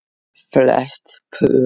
Flest pör